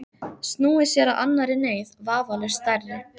Snúið sér að annarri neyð, vafalaust stærri.